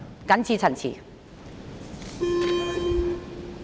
謹此陳辭。